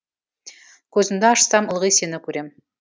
көзімді ашсам ылғи сені көрем